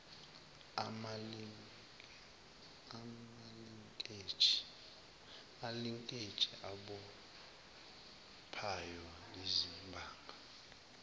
amalinkeji abophayo iziphanga